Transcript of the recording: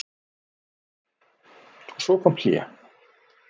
Og svo kom hlé.